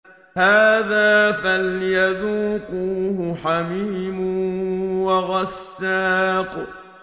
هَٰذَا فَلْيَذُوقُوهُ حَمِيمٌ وَغَسَّاقٌ